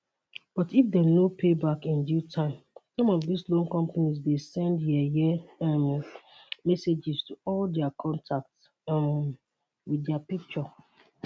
but if dem no pay back in due time some of dis loan companies dey send yeye um messages to all dia contacts um wit dia picture